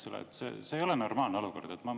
See ei ole normaalne olukord.